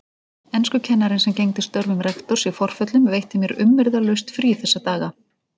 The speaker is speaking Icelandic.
Enskukennarinn sem gegndi störfum rektors í forföllum veitti mér umyrðalaust frí þessa daga.